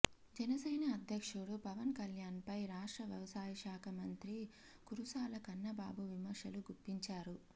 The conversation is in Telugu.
జనసేన అధ్యక్షుడు పవన్ కళ్యాణ్పై రాష్ట్ర వ్యవసాయ శాఖ మంత్రి కురుసాల కన్నబాబు విమర్శలు గుప్పించారు